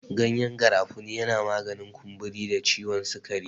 Gyanyen garafuni yana maganin kumburi da ciwon sikari.